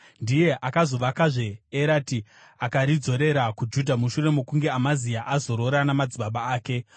Ndiye akazovakazve Erati akaridzorera kuJudha mushure mokunge Amazia azorora namadzibaba ake.